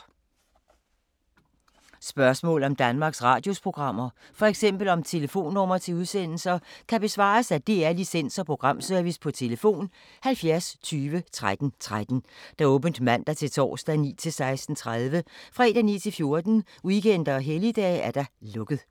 Spørgsmål om Danmarks Radios programmer, f.eks. om telefonnumre til udsendelser, kan besvares af DR Licens- og Programservice: tlf. 70 20 13 13, åbent mandag-torsdag 9.00-16.30, fredag 9.00-14.00, weekender og helligdage: lukket.